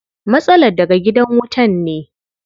Matsalar daga gidan wutan ne.